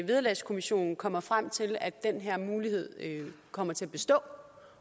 vederlagskommissionen kommer frem til at den her mulighed kommer til at bestå